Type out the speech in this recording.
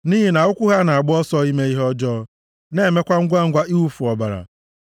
nʼihi na ụkwụ ha na-agba ọsọ ime ihe ọjọọ, na-emekwa ngwangwa iwufu ọbara.